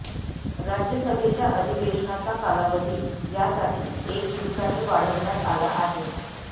राज्यसभेच्या अधिवेशनाचा कालावधी यासाठी एक दिवसाने वाढवण्यात आला आहे